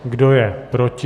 Kdo je proti?